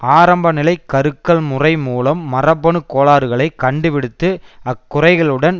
ஆரம்ப நிலை கருக்கள் முறை மூலம் மரபணு கோளாறுகளை கண்டுபிடித்து அக்குறைகளுடன்